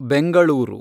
Bengaluru